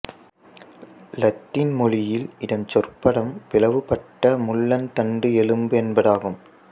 இலத்தீன் மொழியில் இதன் சொற்பதம் பிளவுபட்ட முள்ளந்தண்டு எலும்பு என்பதாகும்